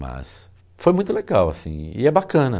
Mas foi muito legal, assim, e é bacana.